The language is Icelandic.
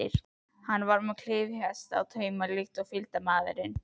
Hann var með klyfjahest í taumi líkt og fylgdarmaðurinn.